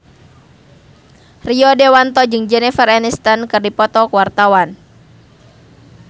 Rio Dewanto jeung Jennifer Aniston keur dipoto ku wartawan